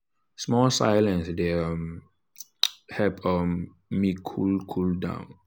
small silence dey um help um me cool cool down.